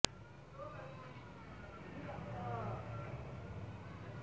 LED টিভির ব্যাপক মূল্য হ্রাস প্রসঙ্গে ওয়ালটন বিপণন বিভাগের সহকারি পরিচালক মো